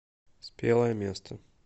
спелое место